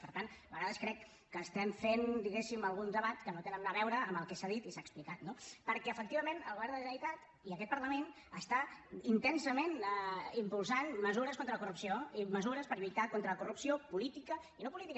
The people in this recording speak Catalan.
per tant a vegades crec que estem fent diguéssim alguns debats que no tenen a veure amb el que s’ha dit i s’ha explicat no perquè efectivament el govern de la generalitat i aquest parlament estan intensament impulsant mesures contra la corrupció i mesures per lluitar contra la corrupció política i no política